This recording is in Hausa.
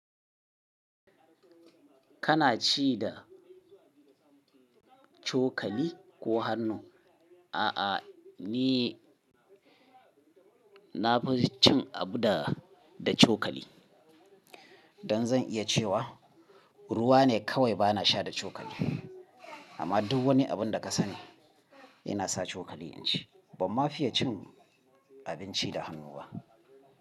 Kana ci da cokali ko hannu? A'a, ni na fi cin abu da, da cokali. Dan zan iya cewa ruwa ne kawai bana sha da cokali. Amma duk wani abun da ka sani ina sa cokali inci. Bamma fiye cin abinci da hannu ba.